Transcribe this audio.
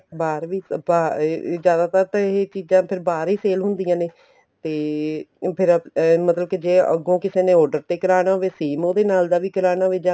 ਬਾਹਰ ਵੀ ਅਹ ਜਿਆਦਾਤਰ ਤਾਂ ਇਹ ਚੀਜ਼ਾਂ ਫ਼ੇਰ ਬਾਹਰ ਹੀ sale ਹੁੰਦੀਆਂ ਨੇ ਤੇ ਫ਼ੇਰ ਮਤਲਬ ਕੇ ਜ਼ੇ ਅੱਗੋ ਕਿਸੇ ਨੇ order ਤੇ ਕਰਾਣਾ ਹੋਵੇ same ਉਹਦੇ ਨਾਲ ਦਾ ਵੀ ਕਰਾਣਾ ਹੋਵੇ ਜਾਂ